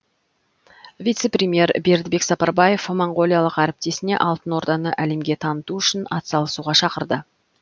вице премьер бердібек сапарбаев моңғолиялық әріптесіне алтын орданы әлемге таныту үшін ат салысуға шақырды